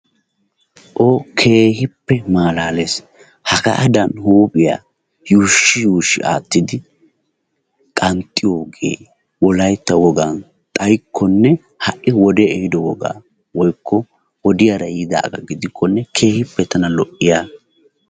O! Keehippe malaales hagaadan huphiyaa yushshi yuushshi aattidi qanxxiyoogee wolaytta wogan xayikkonne ha'i woddee ehiido woga woyikko wodiyaara yiidaagaa gidikkonne keehippe tana lo'iyaaba.